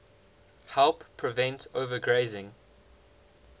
help prevent overgrazing